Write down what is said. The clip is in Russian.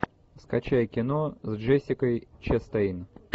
скачай кино с джессикой честейн